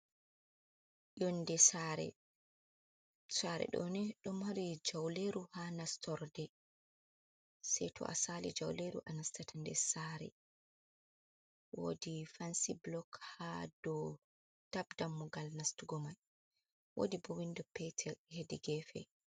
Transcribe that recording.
Yonde sare do ni do mari jauleru ha nastorde sei to a sali jauleru a nastata nder sare wodi fansy blok ha do dab dammugal nastugo mai wodi bo windo petel hedi gefe.